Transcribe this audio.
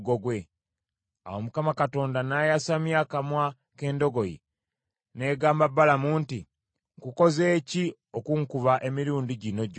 Awo Mukama Katonda n’ayasamya akamwa k’endogoyi, n’egamba Balamu nti, “Nkukoze ki okunkuba emirundi gino gyonsatule?”